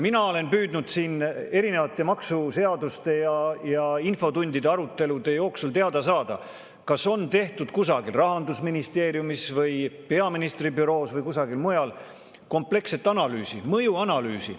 Mina olen püüdnud siin erinevate maksuseaduste ja infotundide arutelude jooksul teada saada, kas on tehtud kusagil – Rahandusministeeriumis, peaministri büroos või kusagil mujal – kompleksset mõjuanalüüsi.